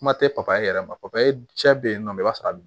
Kuma tɛ papaye yɛrɛ ma e cɛ bɛ yen nɔ i b'a sɔrɔ